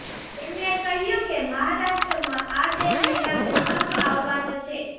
તેમણે કહ્યુ કે મહારાષ્ટ્રમાં આ બે મહિના ભૂકંપ આવવાનો છે